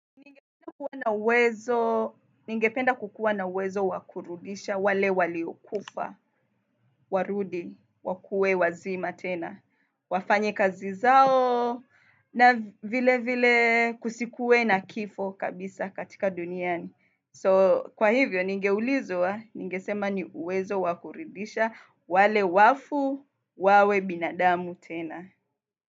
Ningependa kukuwa na uwezo wa kurudisha, wale waliokufa, warudi, wakue wazima tena, wafanye kazi zao na vile vile kusikuwe na kifo kabisa katika duniani. So, kwa hivyo, ningeulizwa, ningesema ni uwezo wa kurudisha, wale wafu, wawe binadamu tena.